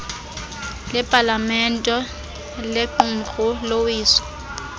lepalamente lequmrhu lowiso